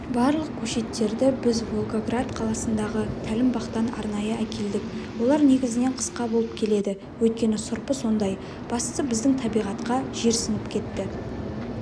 барлық көшеттерді біз волгоград қаласындағы тәлімбақтан арнайы әкелдік олар негізінен қысқа болып келеді өйткені сұрпы сондай бастысы біздің табиғатқа жерсініп кетті